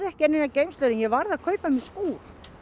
enga geymslu en varð að kaupa mér skúr